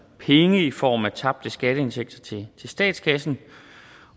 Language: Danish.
penge i form af tabte skatteindtægter til statskassen